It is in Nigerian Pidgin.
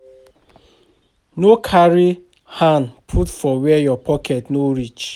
No carry hand put for where your pocket no reach